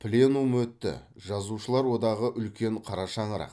пленум өтті жазушылар одағы үлкен қара шаңырақ